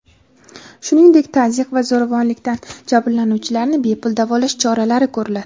shuningdek tazyiq va zo‘ravonlikdan jabrlanuvchilarni bepul davolash choralari ko‘riladi.